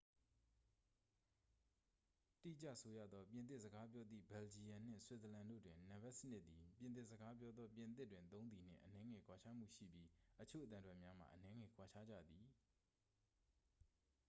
တိကျဆိုရသော် ပြင်သစ်စကားပြောသည့် ဘယ်လ်ဂျီယမ်နှင့် ဆွစ်ဇာလန်တို့တွင် နံပါတ်စနစ်သည် ပြင်သစ်စကားပြောသော ပြင်သစ်တွင်သုံးသည်နှင့် အနည်းငယ်ကွာခြားမှုရှိပြီး အချို့အသံထွက်များမှာ အနည်းငယ်ကွာခြားကြသည်